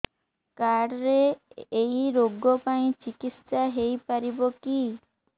card ରେ ଏଇ ରୋଗ ପାଇଁ ଚିକିତ୍ସା ହେଇପାରିବ କି